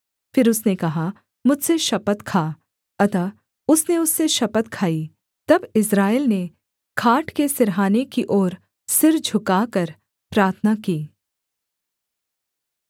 फिर उसने कहा मुझसे शपथ खा अतः उसने उससे शपथ खाई तब इस्राएल ने खाट के सिरहाने की ओर सिर झुकाकर प्रार्थना की